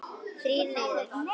Þrír niður.